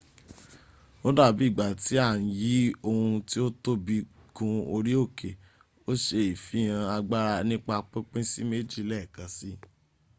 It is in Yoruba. odabi igba ti a n yi ohun ti o tobi gun ori oke o se ifihan agbara nipa pinpin si meji leekansi